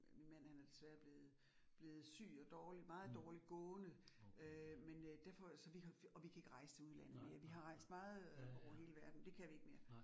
Min mand han er desværre blevet blevet syg og dårlig meget dårligt gående, øh men øh derfor så vi har og vi kan ikke rejse til udlandet mere. Vi har rejst meget over hele verdenen, det kan vi ikke mere